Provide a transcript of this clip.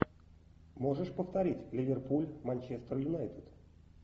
можешь повторить ливерпуль манчестер юнайтед